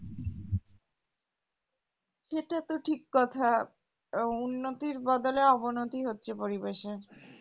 সেটা তো ঠিক কথা আহ উন্নতির বদলে অবনতি হচ্ছে পরিবেশে